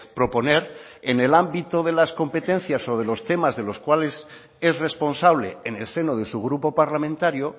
proponer en el ámbito de las competencias o de los temas de los cuales es responsable en el seno de su grupo parlamentario